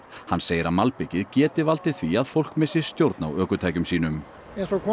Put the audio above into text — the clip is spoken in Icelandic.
hann segir að malbikið geti valdið því að fólk missi stjórn á ökutækjum sínum eins og kom